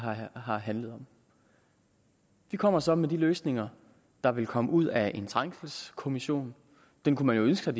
har handlet om de kommer så med de løsninger der vil komme ud af en trængselskommission den kunne man jo ønske sig